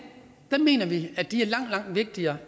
mener vi er langt langt vigtigere